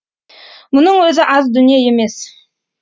мұның өзі аз дүние емес